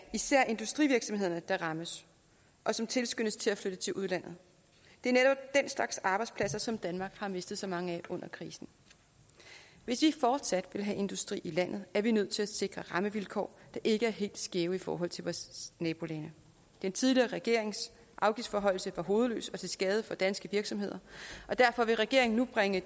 især er industrivirksomhederne der rammes og som tilskyndes til at flytte til udlandet det er netop den slags arbejdspladser som danmark har mistet så mange af under krisen hvis vi fortsat vil have industri i landet er vi nødt til at sikre rammevilkår der ikke er helt skæve i forhold til vores nabolande den tidligere regerings afgiftsforhøjelse var hovedløs og til skade for danske virksomheder og derfor vil regeringen nu bringe